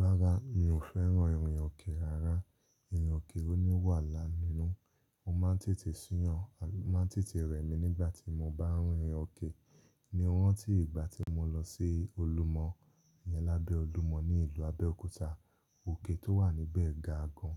Rárá, mi ò fẹ́ràn ìrìn òkè rárá. Ìrìn òkè oníwà-la-nínú. Mo máa ń tètè sú yàn, o máa ń tètè rẹ̀mí nígbà tí mo bá rín irin òkè. Mo ranti ìgbà tí mo lọ sí olúmọ iyẹn lábẹ́ olúmọ ní ìlú Abẹ́òkúta, òkè tó wà níbẹ̀ ga gan.